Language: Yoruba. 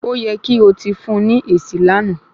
O yẹ kí o tí fún ní esi lánàá